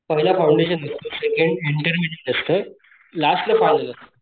पहिला फौंडेशन असतो second intermediate असत लास्ट ला फायनल असत